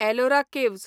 Ellora caves